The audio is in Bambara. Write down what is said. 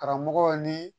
Karamɔgɔ ni